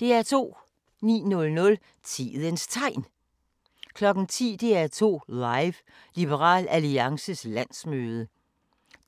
09:00: Tidens Tegn 10:00: DR2 Live: Liberal Alliances landsmøde